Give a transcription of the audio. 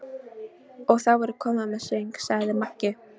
Og þá er komið að söng, sagði Maggi.